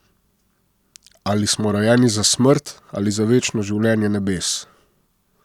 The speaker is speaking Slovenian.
Ali smo rojeni za smrt ali za večno življenje nebes?